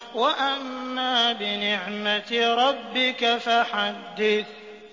وَأَمَّا بِنِعْمَةِ رَبِّكَ فَحَدِّثْ